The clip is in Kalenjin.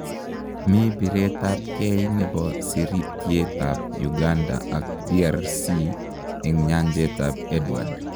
mi biret ab keey chebo sirityeet ab Uganda ak DRC eng nyanjet ab Edward